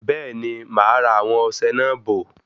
Bẹẹni, máa ra àwọn ọsẹ náà bò